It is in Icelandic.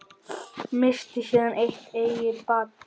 Missti síðan sitt eigið barn.